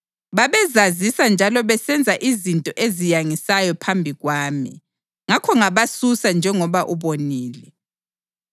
Babezazisa njalo besenza izinto eziyangisayo phambi kwami. Ngakho ngabasusa njengoba ubonile.